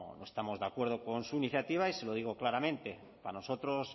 estamos de acuerdo con su iniciativa y se lo digo claramente para nosotros